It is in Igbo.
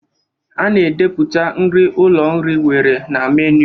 A na-edepụta nri ụlọ nri nwere na menu.